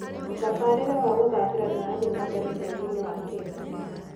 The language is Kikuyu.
Ũtabarĩre wa gũthakĩra nĩ ũrathiĩ na mbere bũrũri-inĩ wa Kenya.